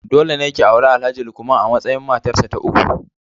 Dole ne ki auri Alhaji Lukman a matsayin matarsa ta uku.